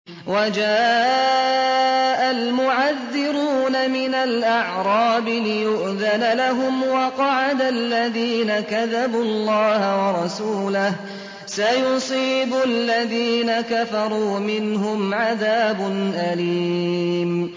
وَجَاءَ الْمُعَذِّرُونَ مِنَ الْأَعْرَابِ لِيُؤْذَنَ لَهُمْ وَقَعَدَ الَّذِينَ كَذَبُوا اللَّهَ وَرَسُولَهُ ۚ سَيُصِيبُ الَّذِينَ كَفَرُوا مِنْهُمْ عَذَابٌ أَلِيمٌ